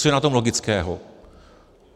Co je na tom logického.